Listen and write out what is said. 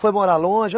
Foi morar longe?